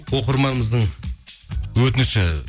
оқырманымыздың өтініші